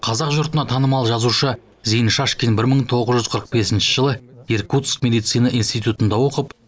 қазақ жұртына танымал жазушы зейін шашкин бір мың тоғыз жүз қырық бесінші жылы иркутск медицина институтында оқып